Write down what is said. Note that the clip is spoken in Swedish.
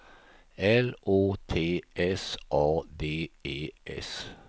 L Å T S A D E S